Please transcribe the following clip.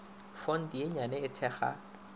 fonte ye nnyane e thekga